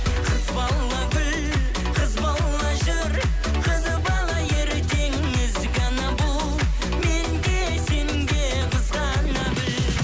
қыз бала гүл қыз бала жүр қыз бала ертең ізгі ана бұл мен де сен де қызғана біл